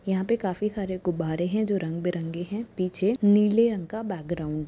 यहाँ पे काफी सारे गुब्बारे हैं जो रंग बिरंगे हैं पीछे नीले रंग का बैकग्रॉउंड है।